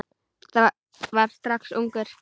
Var það strax ungur.